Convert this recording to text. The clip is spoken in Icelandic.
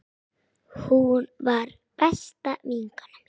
Hún var besta vinkona mín.